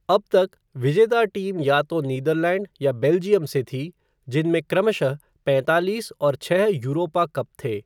अब तक, विजेता टीम या तो नीदरलैंड या बेल्जियम से थी, जिनमे क्रमश पैंतालीस और छः यूरोपा कप थे।